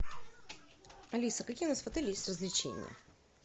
алиса какие у нас в отеле есть развлечения